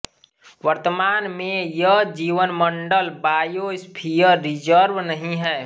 वर्तमान में यह जीवमंडल बायोस्फियर रिजर्व नहीं है